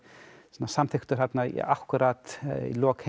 samþykktur þarna akkúrat í lok